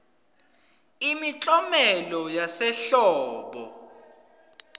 imiklomelo yasehlobo